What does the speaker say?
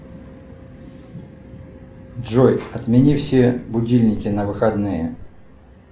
джой отмени все будильники на выходные